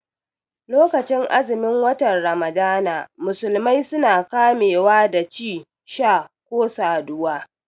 Lokacin azumin wata ramadana musulmai suna kame wa da ci, sha ko saduwa